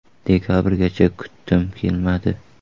Dekabrgacha kutdim, kelmadi.